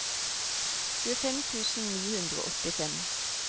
tjuefem tusen ni hundre og åttifem